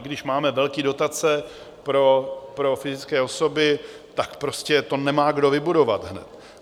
I když máme velké dotace pro fyzické osoby, tak to prostě nemá kdo vybudovat hned.